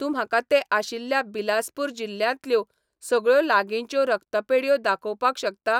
तूं म्हाका तें आशिल्ल्यो बिलासपूर जिल्ल्यांतल्यो सगळ्यो लागींच्यो रक्तपेढयो दाखोवपाक शकता ?